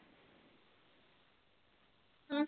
ਹਮ